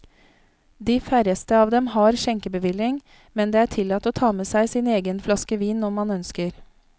De færreste av dem har skjenkebevilling, men det er tillatt å ta med seg sin egen flaske vin om man ønsker.